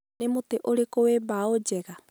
Nĩ mũtĩ ũrĩkũ wĩ mbaũ njega?